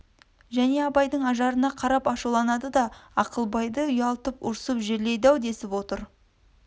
және абайдың ажарына қарап ашуланады да ақылбайды үялтып ұрсып жерлейді-ау десіп отыр